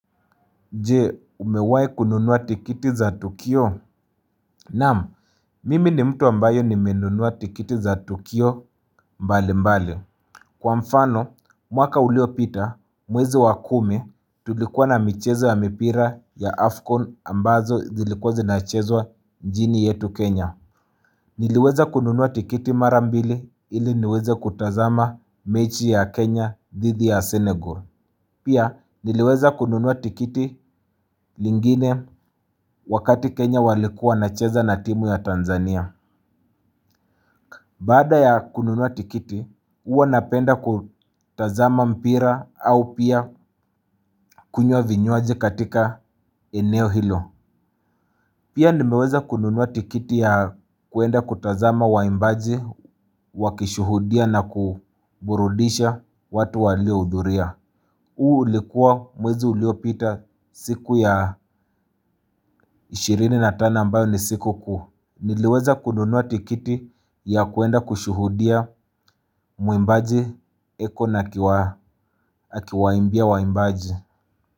Nje umewahi kununua tikiti za tukio naam mimi ni mtu ambaye nimenunua tikiti za tukio mbali mbali kwa mfano mwaka uliopita mwezi wa kumi tulikuwa na michezo ya mipira ya afcon ambazo zilikuwa zinachezwa nchini yetu kenya niliweza kununua tikiti mara mbili ili niweze kutazama mechi ya kenya dhidi ya senegal. Pia niliweza kununua tikiti lingine wakati Kenya walikuwa wanacheza na timu ya Tanzania. Baada ya kununua tikiti, huwa napenda kutazama mpira au pia kunywa vinywaji katika eneo hilo. Pia nimeweza kununua tikiti ya kwenda kutazama waimbaji, wakishuhudia na kuburudisha watu waliohudhuria. Huu ulikuwa mwezi uliopita siku ya ishirini na tano ambayo ni sikukuu. Niliweza kununua tikiti ya kwenda kushuhudia mwimbaji eko na akiwaimbia waimbaji.